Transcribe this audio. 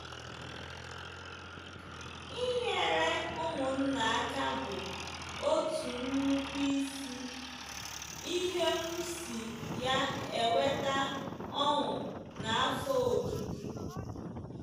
Inyere ụmụnna aka bụ otu nnukwu isi ihe m si ya enweta ọṅụ na afọ ojuju! ”